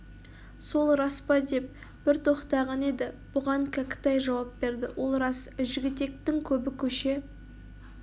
сол рас па деп бір тоқтаған еді бұған кәкітай жауап берді ол рас жігітектің көбі көше